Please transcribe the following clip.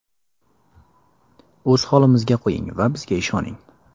O‘z holimizga qo‘ying va bizga ishoning.